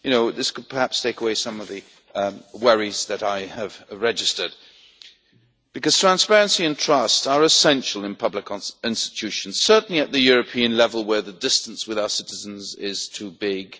This could perhaps take away some of the worries that I have registered, because transparency and trust are essential in public institutions, certainly at the European level where the distance with our citizens is too big.